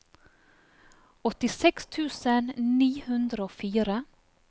åttiseks tusen ni hundre og fire